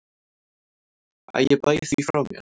Æ ég bægi því frá mér.